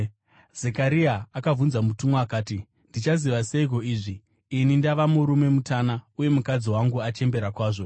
Zekaria akabvunza mutumwa akati, “Ndichazviziva seiko izvi? Ini ndava murume mutana uye mukadzi wangu achembera kwazvo.”